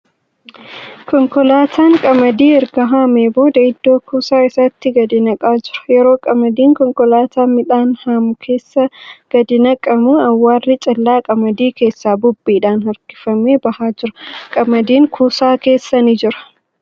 Konkolaatan qamadii erga haamee booda iddoo kuusaa isaatti gadi naqaa jira. Yommuu qamadiin konkolaataa midhaan haamu keessaa gadi naqamu, awwaarri callaa qamadii keessaa bubbeedhan harkifamee bahaa jira. Qamadiin kuusaa keessa ni jira.